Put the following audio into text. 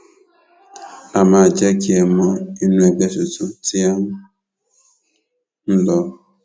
á máa jẹ kẹ ẹ mọ inú ẹgbẹ tuntun tí à ń lò